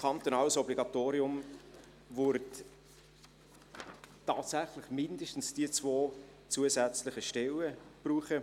Durch ein kantonales Obligatorium würden tatsächlich mindestens diese zwei zusätzlichen Stellen gebraucht.